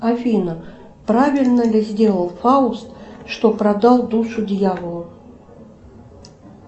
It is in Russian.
афина правильно ли сделал фауст что продал душу дьяволу